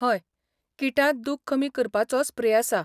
हय, किटांत दुख कमी करपाचो स्प्रे आसा.